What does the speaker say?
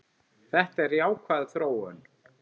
Þetta er jákvæð þróun.